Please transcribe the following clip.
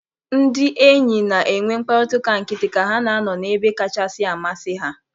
Ndị enyi na-enwe mkparịta ụka nkịtị ka ha na-anọ n'ebe kachasị amasị ha.